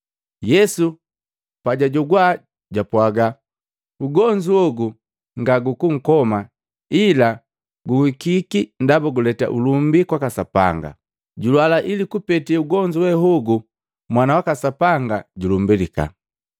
Yesu pajwajogwa jwapwaga, “Ugonzu hogu nga gukukoma ila guhikiki ndaba guleta ulumbi kwaka Sapanga, julwala ili kupete ugonzu wee hogu Mwana waka Sapanga julumbalika.”